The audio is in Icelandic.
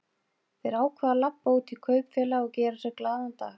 Þeir ákváðu að labba út í kaupfélag og gera sér glaðan dag.